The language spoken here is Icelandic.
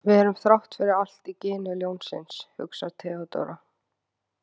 Við erum þrátt fyrir allt í gini ljónsins, hugsar Theodóra.